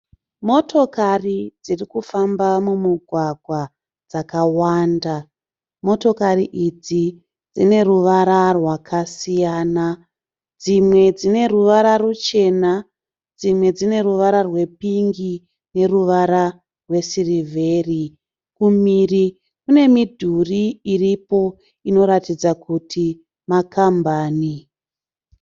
Motokari dziri kufamba mumugwagwa dzakawanda. Motokari idzi dzine ruvara rwakasiyana. Dzimwe dzine ruvara ruchena dzimwe dzine ruvara rwepingi neruvara rwesirivheri. Kumhiri kune midhuri iripo inoratidza kuti makambani.